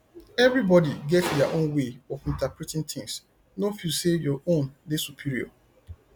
everybody get their own way of interpreting things no feel sey your own dey superior